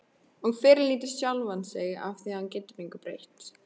Og fyrirlíti sjálfan sig afþvíað hann getur engu breytt.